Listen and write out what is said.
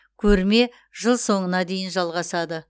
көрме жыл соңына дейін жалғасады